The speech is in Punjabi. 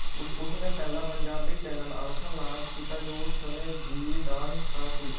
ਉਸ ਨੇ ਪਹਿਲਾ ਪੰਜਾਬੀ ਚੈਨਲ ਅਲਫ਼ਾ ਲਾਂਚ ਕੀਤਾ ਜੋ ਉਸ ਸਮੇਂ ਜ਼ੀ ਦਾ ਹਿੱਸਾ ਸੀ